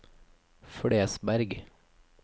Flesberg